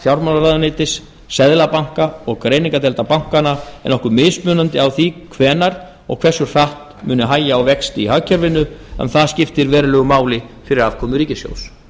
fjármálaráðuneytis seðlabanka og greiningardeilda bankanna er nokkuð mismunandi á því hvenær og hversu hratt muni hægja á vexti í hagkerfinu en það skiptir verulegu máli fyrir afkomu ríkissjóðs